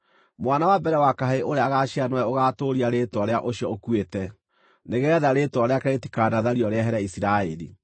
Mwana wa mbere wa kahĩĩ ũrĩa agaaciara nĩwe ũgaatũũria rĩĩtwa rĩa ũcio ũkuĩte, nĩgeetha rĩĩtwa rĩake rĩtikanathario rĩehere Isiraeli.